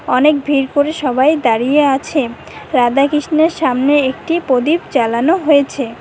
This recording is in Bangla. অনেক ভিড় করে সবাই দাঁড়িয়ে আছে রাধা কৃষ্ণের সামনে একটি প্রদীপ জ্বালানো হইছে।